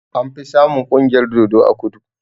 Anfi samun ƙungiyar dodo a kudu